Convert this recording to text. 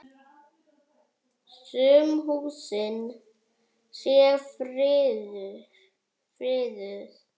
Sum húsin séu friðuð.